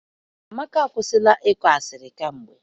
Amaka akwụsila ịkọ asịrị kamgbe